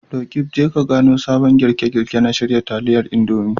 Roqeeb, Je ka gano sabon girke-girke na shirya taliyar Indomie.